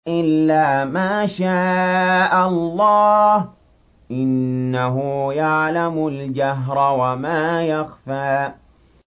إِلَّا مَا شَاءَ اللَّهُ ۚ إِنَّهُ يَعْلَمُ الْجَهْرَ وَمَا يَخْفَىٰ